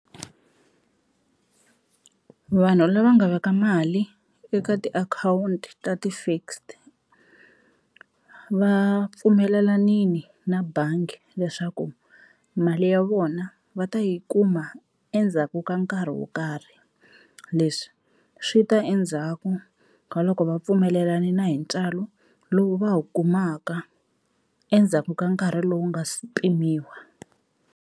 Vanhu lava nga veka mali eka tiakhawunti ta ti-fixed va pfumelelanini na bangi leswaku mali ya vona va ta yi kuma endzhaku ka nkarhi wo karhi, leswi swi ta endzhaku ka loko va pfumelelanini na hi ntswalo lowu va wu kumaka endzhaku ka nkarhi lowu nga si pimiwa.